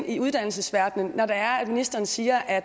i uddannelsesverdenen når ministeren siger at